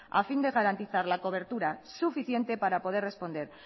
a fin de garantizar la cobertura suficiente para poder responder